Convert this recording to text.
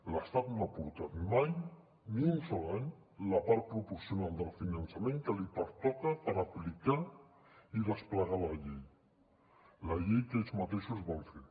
l’estat no ha aportat mai ni un sol any la part proporcional del finançament que li pertoca per aplicar i desplegar la llei la llei que ells mateixos van fer